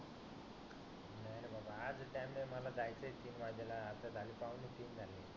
नको टाइम नाही आहे मला जायच आहे तीन वाजेल आता झाले पाहुणे तीन झाले